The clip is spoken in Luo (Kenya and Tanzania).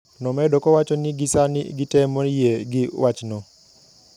Nomedo kowacho ni gisani gitemo yie gi wachno.